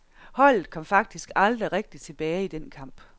Holdet kom faktisk aldrig rigtig tilbage i den kamp.